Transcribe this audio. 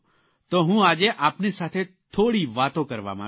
તો હું આજે આપની સાથે થોડી વાતો કરવા માંગું છું